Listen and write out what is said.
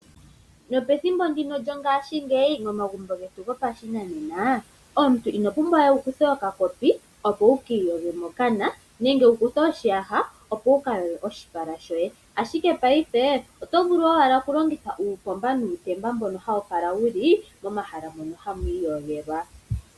Nopethimbo ndino lyongashingeyi momagumbo getu gopashinanena, omuntu ino pumbwa we wu kuthe okakopi opo wu ki iyoge mokana nenge wu kuthe oshiyaha opo wu ka iyoge moshipala, ashike paife oto vulu wala okulongitha uuomba nuutemba mboka wu li pomahala ngono ha pu iyogelwa.